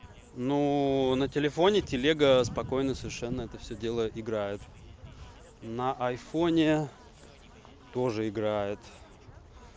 ну на телефоне телега спокойно совершенно это всё дело играет на айфоне тоже играет